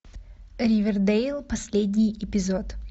ривердэйл последний эпизод